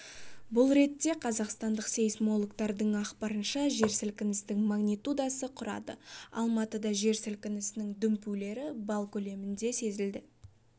бұл ретте қазақстандық сейсмологтардың ақпарынша жер сілкінісінің магнитудасы құрады алматыда жер сілкінісінің дүмпулері балл көлемінде сезілді